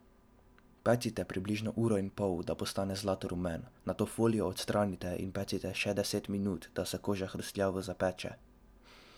Pecite približno uro in pol, da postane zlatorumen, nato folijo odstranite in pecite še deset minut, da se koža hrustljavo zapeče.